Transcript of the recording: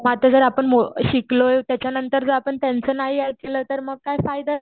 मग आताजर मो शिकलोय त्याच्यानंतर जर आपण त्यांचं नातू ऐकलं तर काही फायदाच नाही